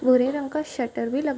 भूरे रंग का शटर भी लगा --